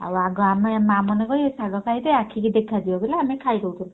ଆଉ ଅଗେ ମା ମାନେ କହିବେ ଶାଗ ଖାଇଲେ ଆଖିକି ଦେଖାଯିବ ବଇଲେ ଆମେ ଖାଇଦଉଥିଲୁ।